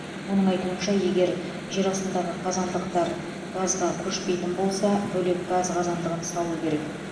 оның айтуынша егер жер астындағы қазандықтар газға көшпейтін болса бөлек газ қазандығын салу керек